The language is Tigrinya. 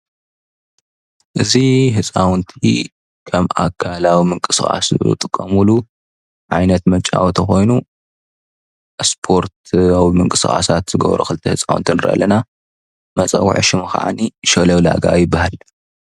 እዙይ ህፃውንቲ ከም አካላዊ ምንቅስቃስ ዝጥቀምሉ ዓይነት መጫወቲ ኮይኑ ስፖርታዊ ምንቅስቃሳት ዝገብሩ ክልተ ተፃወቲ ንርኢ አለና። መፀውዒ ሽሙ ከዓኒ ሽለው ላጋ ይብሃል።